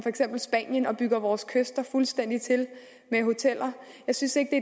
spanien og bygger vores kyster fuldstændig til med hoteller jeg synes ikke